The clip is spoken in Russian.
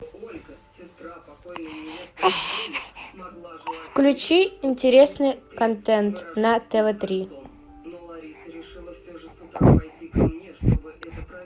включи интересный контент на тв три